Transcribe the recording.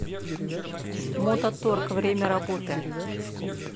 мототорг время работы